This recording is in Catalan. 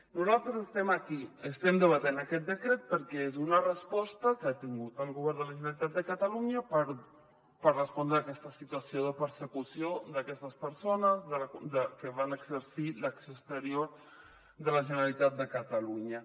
nosaltres estem aquí estem debatent aquest decret perquè és una resposta que ha tingut el govern de la generalitat de catalunya per respondre a aquesta situació de persecució d’aquestes persones que van exercir l’acció exterior de la generalitat de catalunya